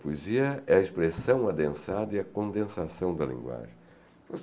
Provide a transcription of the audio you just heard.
Poesia é a expressão adensada e a condensação da linguagem.